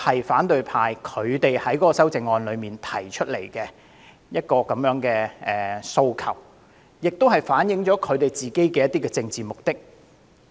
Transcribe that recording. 反對派在修正案中提出的這些訴求，反映了他們的政治目的。